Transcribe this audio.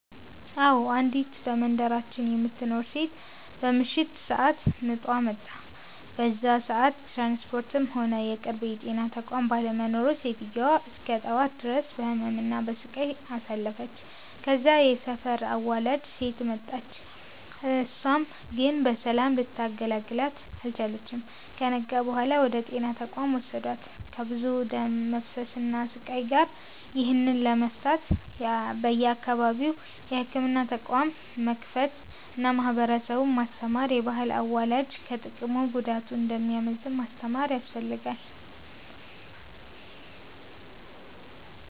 አዎ፤ አንዲት በመንደራችን የምትኖር ሴት በምሽት ሰአት ምጧ መጣ። በዛ ሰአት ትራንስፖርትም ሆነ የቅርብ የጤና ተቋም ባለመኖሩ ሴትዮዋ እስከ ጠዋት ድረስ በህመም እና በሰቃይ አሳልፍለች። ከዛም የሰፈር አዋላጅ ሴት መጣች እሳም ግን በሰላም ልታገላግላት አልቻለችም። ከነጋ በኋላ ወደ ጤና ተቋም ወሰዷት ከብዙ ደም መፍሰስ እና ስቃይ ጋር። ይህንን ለመፍታት በየአካባቢው የህክምና ተቋም መክፈት አና ማህበረሰቡን ማስተማር፤ የባህል አዋላጅ ከጥቅሙ ጉዳቱ እንደሚያመዝን ማስተማር ያስፈልጋል።